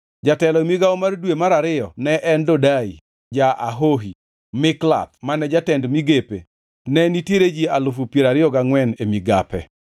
Jatelo e migawo mar dwe mar ariyo ne en Dodai ja-Ahohi, Mikloth ne jatend migape. Ne nitiere ji alufu piero ariyo gangʼwen (24,000) e migape.